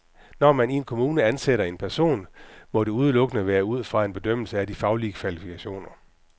Når man i en kommune ansætter en person, må det udelukkende være ud fra en bedømmelse af de faglige kvalifikationer.